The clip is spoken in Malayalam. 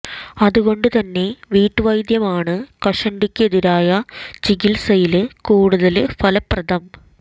അതുകൊണ്ട് തന്നെ വീട്ടുവൈദ്യമാണ് കഷണ്ടിക്ക് എതിരായ ചികിത്സയില് കൂടുതല് ഫലപ്രദം